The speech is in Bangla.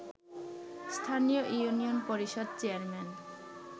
স্থানীয় ইউনিয়ন পরিষদ চেয়ারম্যান